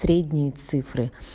средние цифры